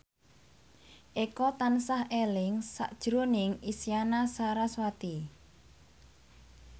Eko tansah eling sakjroning Isyana Sarasvati